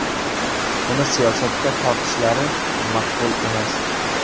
Uni siyosatga tortishlari maqbul emas.